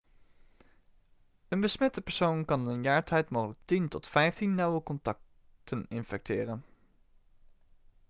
een besmette persoon kan in een jaar tijd mogelijk 10 tot 15 nauwe contacten infecteren